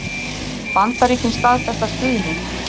Bandaríkin staðfesta stuðning